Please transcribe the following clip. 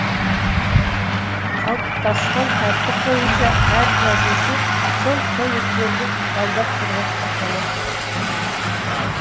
қалыптасқан тәртіп бойынша әр жазушы сол коттедждерді жалдап тұруға құқылы